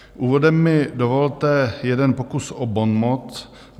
Úvodem mi dovolte jeden pokus o bonmot.